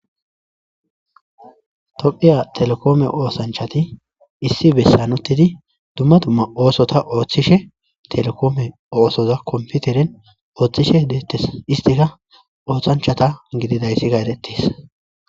Tophiya telekoome oosanchati issi bessanuttidi dumma dumma oosota ooththishe telekome oosoza komputeren ooththishe deettes istika oothanchata gididaysiga eettis